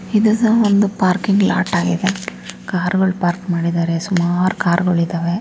ಇದು ಸಹ ಒಂದು ಪಾರ್ಕಿಂಗ್ ಲಾಟ್ ಆಗಿದೆ ಕಾರ್ಗಳು ಪಾರ್ಕ್ ಮಾಡಿದ್ದಾರೆ ಸುಮಾರು ಕಾರ್ಗಳು ಇದ್ದಾವೆ.